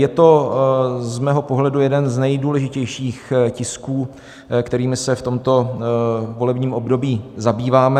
Je to z mého pohledu jeden z nejdůležitějších tisků, kterými se v tomto volebním období zabýváme.